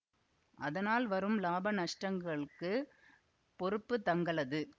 அதனால் வரும் லாப நஷ்டங்களுக்குப் பொறுப்புத் தங்களது